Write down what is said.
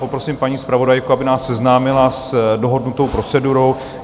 Poprosím paní zpravodajku, aby nás seznámila s dohodnutou procedurou.